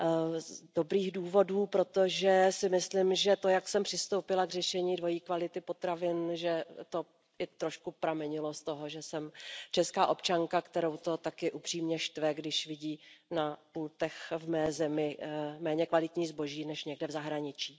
Z dobrých důvodů, protože si myslím, že to, jak jsem přistoupila k řešení dvojí kvality potravin, trošku pramenilo z toho, že jsem česká občanka, kterou to také upřímně štve, když vidí na pultech ve své zemi méně kvalitní zboží než někde v zahraničí.